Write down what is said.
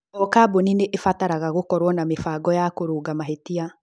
O kambũni nĩ ĩbataraga gũkorũo na mĩbango ya kũrũnga mahĩtia.